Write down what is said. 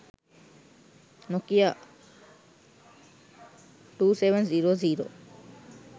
nokia 2700